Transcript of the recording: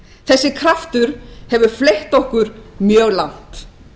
þessi kraftur hefur fleytt okkur mjög langt